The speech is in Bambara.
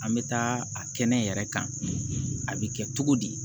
An bɛ taa a kɛnɛ yɛrɛ kan a bɛ kɛ cogo di